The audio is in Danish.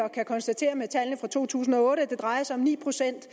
kan konstatere med tallene for to tusind og otte at det drejer sig om ni procent